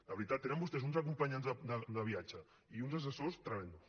de veritat tenen vostès uns acompanyants de viatge i uns assessors tremends